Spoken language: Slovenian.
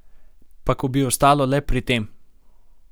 Pa ko bi ostalo le pri tem!